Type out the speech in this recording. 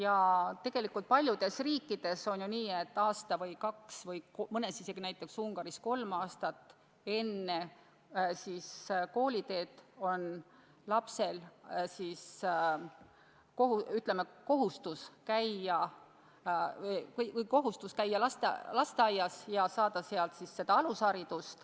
Aga tegelikult paljudes riikides on nii, et aasta või kaks või näiteks Ungaris isegi kolm aastat enne kooliteed on lapsel kohustus käia lasteaias ja saada seal alusharidus.